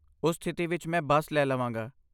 ਉਸ ਸਥਿਤੀ ਵਿੱਚ ਮੈਂ ਬੱਸ ਲੈ ਲਵਾਂਗਾ।